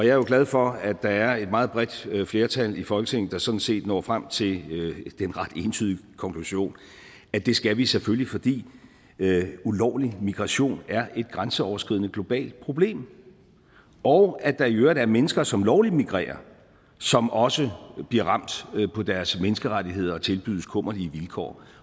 jo glad for at der er et meget bredt flertal i folketinget der sådan set når frem til den ret entydige konklusion at det skal vi selvfølgelig fordi ulovlig migration er et grænseoverskridende globalt problem og at der i øvrigt er mennesker som lovligt migrerer som også bliver ramt på deres menneskerettigheder og tilbydes kummerlige vilkår